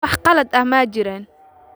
Wax qalad ah ma jiraan.